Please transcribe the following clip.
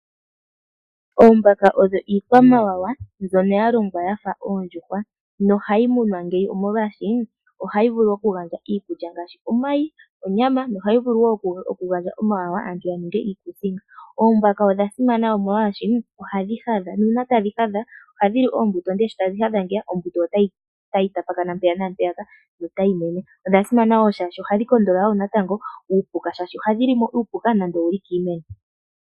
Oombaka odho iikwamawawa mbyono yalongwa yafa oondjuhwa nohayi munwa ngeyi omolwashi ohayi vulu okugandja iikulya ngashi omayi, onyama nohayi vulu wo oku gandja omawawa aantu yaninge iikusinga. Oombaka odha simana omolwashi ohadhi hadha, nuna tadhi hadha ohadhi li oombuto, ndele shitadhi hadha ngeyi oombuto otayi tapakana mpeya naampeyaka notayi mene. Odha simana woo shaashoka ohadhi kondolola natango uupuka, shaashi ohadhi li uupuka nande owuli kiimeno.